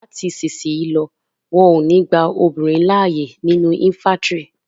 Lati isisiyi lọ, wọn yo ni gba àwọn obinrin laaye ninu infàntiri